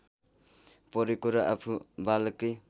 परेको र आफू बालकै